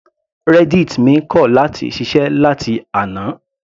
Reddit mi kọ̀ láti ṣiṣẹ́ láti àná.